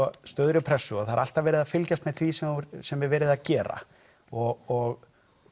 stöðugri pressu og það er alltaf verið að fylgjast með því sem sem er verið að gera og